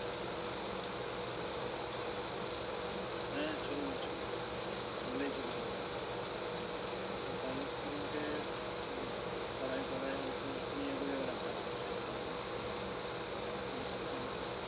হ্যাঁ চলবে চলবে করলেই চলবে। তাহলে তো তোমাকে আহ পাড়ায় পাড়ায় হয়তো নিয়ে ঘুরে বেড়াতে হবে cycle এ করে হোক motorcycle এ হোক